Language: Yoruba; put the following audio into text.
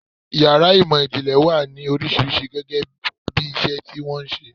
Ìyàrá ìmò-ìjìnlẹ̀ wà ní oríṣiríṣi gẹ́gẹ́bí iṣẹ́ tí wọ́n ń ṣe.